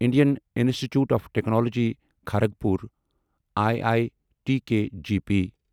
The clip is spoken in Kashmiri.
Indian Institute of Technology Kharagpur I I T K G P